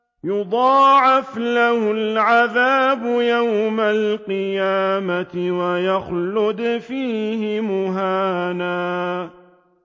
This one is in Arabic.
يُضَاعَفْ لَهُ الْعَذَابُ يَوْمَ الْقِيَامَةِ وَيَخْلُدْ فِيهِ مُهَانًا